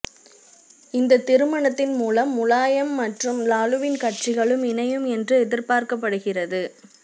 இந்தத் திருமணத்தின் மூலம் முலாயம் மற்றும் லாலுவின் கட்சிகளும் இணையும் என்று எதிர்பார்க்கபடுகிறது